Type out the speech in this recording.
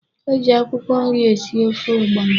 E ji akwụkwọ nri esi ofe ọgbọnọ.